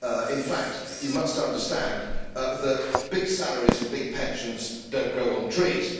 In fact, you must understand that big salaries and big pensions do not grow on trees.